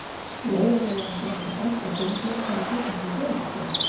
Lóa-Lóa ætlaði að fara að banka á dyrnar þegar hún tók eftir dyrabjöllunni.